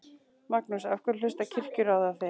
Magnús: Af hverju hlustar Kirkjuráð á þig?